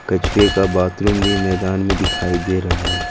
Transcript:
कछुए का बाथरूम भी मैदान में दिखाई दे रहा है।